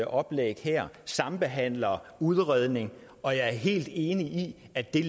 oplæg her sambehandler udredning og jeg er helt enig i at det